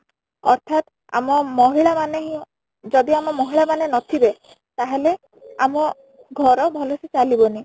ଅର୍ଥାତ ଆମ ମହିଳା ମାନେ ହିଁ ଯଦି ଆମ ମହିଳା ମାନେ ନ ଥିବେ ତାହେଲେ ଆମ ଘର ଭଲ ସେ ଚାଲି ବନି